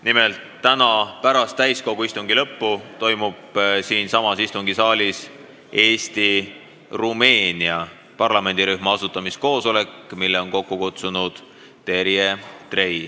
Nimelt, täna pärast täiskogu istungi lõppu toimub siin istungisaalis Eesti-Rumeenia parlamendirühma asutamiskoosolek, mille on kokku kutsunud Terje Trei.